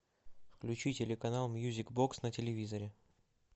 включи телеканал мьюзик бокс на телевизоре